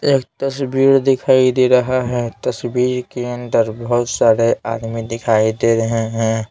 एक तस्वीर दिखाई दे रहा है तस्वीर के अंदर बहुत सारे आदमी दिखाई दे रहे हैं।